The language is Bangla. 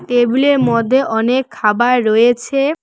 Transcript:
টেবিলের মধ্যে অনেক খাবার রয়েছে।